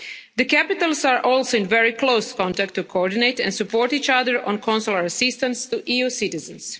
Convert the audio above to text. The capitals are also in very close contact to coordinate and support each other on consular assistance to EU citizens.